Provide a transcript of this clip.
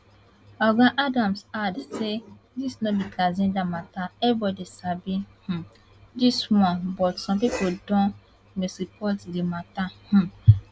oga adams add say dis no be transgender mata everibodi sabi um dis one but some pipo don misreport di mata um